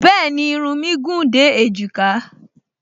Bẹ́ẹ̀ni, irun mí gùn dé èjìká